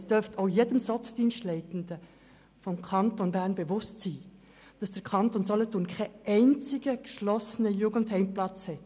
Es dürfte auch jedem Sozialdienstleitenden des Kantons Bern bewusst sein, dass der Kanton Solothurn über keinen einzigen geschlossenen Jugendheimplatz verfügt.